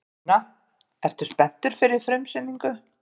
Sunna: Ertu spenntur fyrir frumsýningu?